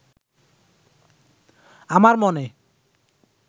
আমার মনে